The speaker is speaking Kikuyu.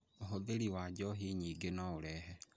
Ũhũthĩri wa njohi nyingĩ no ũrehe